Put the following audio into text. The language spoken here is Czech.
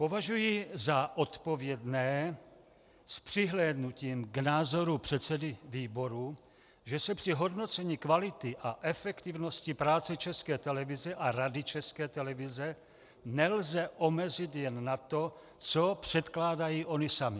Považuji za odpovědné s přihlédnutím k názoru předsedy výboru, že se při hodnocení kvality a efektivnosti práce České televize a Rady České televize nelze omezit jen na to, co předkládají ony samy.